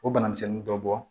O banamisɛnnin dɔ bɔ